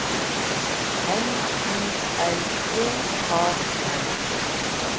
L I L J A N